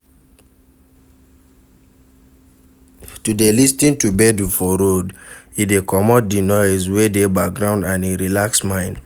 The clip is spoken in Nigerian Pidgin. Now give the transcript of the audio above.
To de lis ten to gbedu for road e de commot di noise wey de background and e relax mind